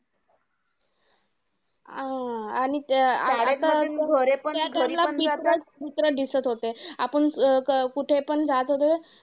आणि अं त्या time ला दिसत होते. आपण क कुठे पण जात होते.